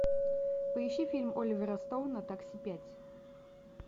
поищи фильм оливера стоуна такси пять